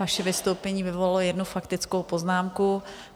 Vaše vystoupení vyvolalo jednu faktickou poznámku.